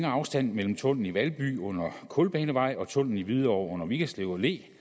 afstand mellem tunnellen i valby under kulbanevej og tunnellen i hvidovre under vigerslev allé